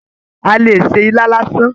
A lè ṣe ilá lásán.